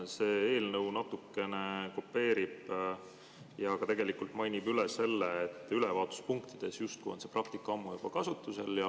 See eelnõu natukene kopeerib seda ja ka tegelikult mainib üle, et ülevaatuspunktides justkui on see praktika ammu juba kasutusel.